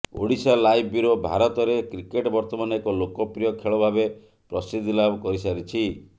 Odisha live bureau ଭାରତରେ cricket ବର୍ତ୍ତମାନ ଏକ ଲୋକପ୍ରିୟ ଖେଳ ଭାବେ ପ୍ରସିଦ୍ଧି ଲାଭ କରିସାରିଛି